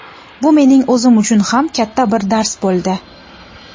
Bu mening o‘zim uchun ham katta bir dars bo‘ldi.